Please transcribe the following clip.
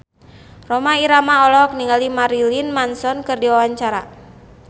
Rhoma Irama olohok ningali Marilyn Manson keur diwawancara